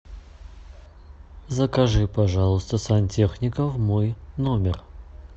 закажи пожалуйста сантехника в мой номер